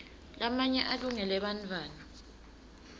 lamanye alungele bantfwana